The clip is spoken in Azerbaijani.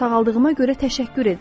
Sağaldığıma görə təşəkkür edirəm.